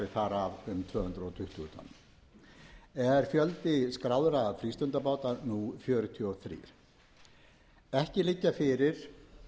af um tvö hundruð tuttugu tonn er fjöldi skráðra frístundabáta nú fjörutíu og þrjú ekki liggja fyrir